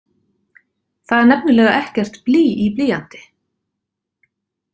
Það er nefnilega ekkert blý í blýanti!